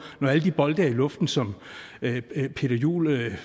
når alle de bolde er i luften som peter juel